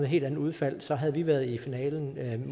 helt andet udfald så havde vi været i finalen